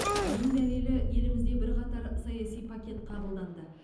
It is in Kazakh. оның дәлелі елімізде бірқатар саяси пакет қабылданды